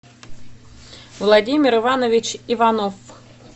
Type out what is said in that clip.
владимир иванович иванов